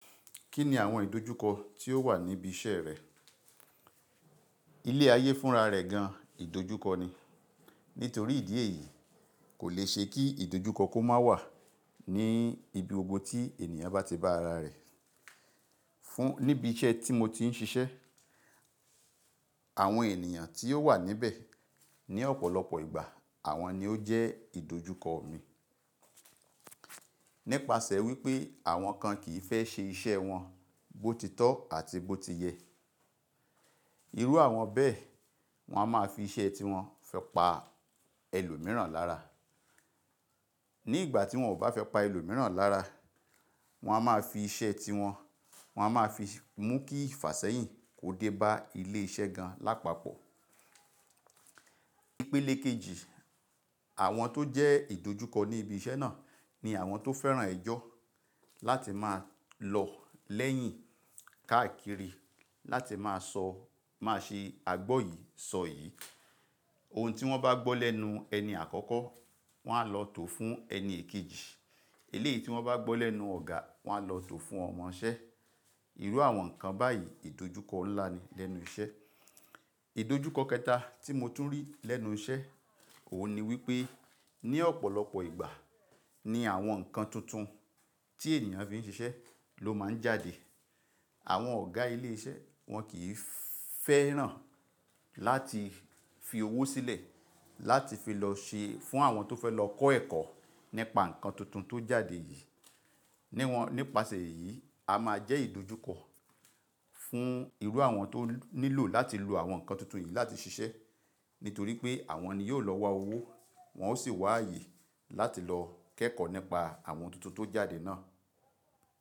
Kí ni àwọn ìdojúkọ tí ó wà níbi iṣẹ́ rẹ? Ilé ayé fúnra rẹ̀ gan ìdojúkọ ni. Nítorí ìdí èyí, kò le ṣe kí ìdojúkọ kó má wà ní ibi gbogbo tí ènìyàn bá ti bá ara rẹ̀. Níbi iṣẹ́ tí mo ti ń ṣiṣẹ́, àwọn ènìyàn tí ó wà níbẹ̀ ní ọ̀pọ̀lọpọ̀ ìgbà àwọn ni ó jẹ́ ìdojúkọ mi. Nípasẹ̀ wípé àwọ́n kan kì í fẹ́ ṣe iṣẹ́ wọn bó ti tọ́ àti bó ti yẹ. Irú àwọn bẹ́ẹ̀, wọ́n a má fi iṣẹ́ ti wọn fi pa ẹlòmíràn lára. Ní ìgbà tí wọ́n ò bá fẹ́ pa ẹlòmíràn lára, wọ́n a má fi iṣẹ́ tí wọn, wọ́n a má fi mú kí ìfàsẹ́yìn kó dé bá ilé iṣẹ́ gan lápapọ̀. Ìpele kejì, àwọn tó jẹ́ ìdojúkọ ní ibi iṣẹ́ náà ni àwọn tó fẹ́ran ẹjọ́ láti máa lọ lẹ́yìn káàkiri láti máa sọ, máa se àgbọ́ yìí, sọ yìí. Ohun tí wọ́n bá gbọ́ lẹ́nu ẹni àkọ́kọ́, wọ́n á lọ tò fún ẹni èkejì. Èlé tí wọ́n bá gbọ́ lẹ́nu ọ̀gá, wọ́n á lọ tò fún ọmọ iṣẹ́. Irú àwọn nǹkan báyìí ìdojúkọ ńlá ni lẹ́nu iṣẹ́. Ìdojúkọ kẹta tí mo tún rí lẹ́nu iṣẹ́, òun ni wípé ní ọ̀pọ̀lọpọ̀ ìgbà ni àwọn ǹkan tuntun tí ènìyàn fi ń ṣiṣẹ́ ló má ń jáde. Àwọn ọ̀gá ilé iṣẹ́ wọn kì í fẹ́ràn láti fi owó sílẹ̀ láti fi lọ ṣe fún àwọn tó fẹ́ lọ kọ́ ẹ̀kọ́ nípa ǹkan tuntun tó jáde yìí. Nípasẹ̀ èyí, a máa jẹ́ ìdojúkọ fún irú àwọn tó nílò láti lo àwọn ǹkan tuntun yìí láti ṣiṣẹ́. Nítorí pé àwọn ni yóò lọ wá owó, wọ́n ó sì wá àyè láti lọ kẹ́kọ̀ọ́ nípa àwọn ohun tuntun tó jáde náà.